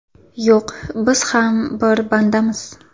Yo‘q, biz ham bir bandamiz.